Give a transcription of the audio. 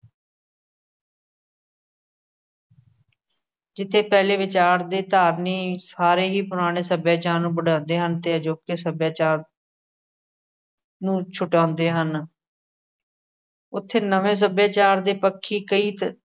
ਜਿੱਥੇ ਪਹਿਲੇ ਵਿਚਾਰ ਦੇ ਧਾਰਨੀ ਸਾਰੇ ਹੀ ਪੁਰਾਣੇ ਸੱਭਿਆਚਾਰ ਨੂੰ ਵਡਾਉਦੇ ਹਨ। ਤੇ ਅਜੋਕੇ ਸੱਭਿਆਚਾਰ ਨੂੰ ਛਡਾਉਦੇ ਹਨ। ਉਥੇ ਨਵੇਂ ਸੱਭਿਆਚਾਰ ਦੇ ਪੱਖੀ ਕਈ ਤ